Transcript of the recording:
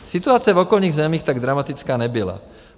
Situace v okolních zemích tak dramatická nebyla.